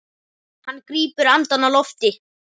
Hann grípur andann á lofti.